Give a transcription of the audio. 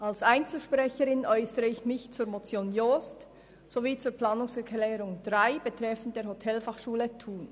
Als Einzelsprecherin äussere ich mich zur Motion Jost sowie zur Planungserklärung 3 betreffend die Hotelfachschule Thun.